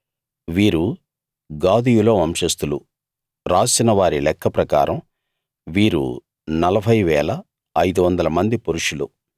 వీరు గాదీయుల వంశస్థులు రాసిన వారి లెక్క ప్రకారం వీరు 40 500 మంది పురుషులు